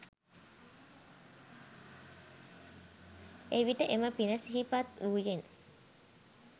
එවිට එම පින සිහිපත් වූයෙන්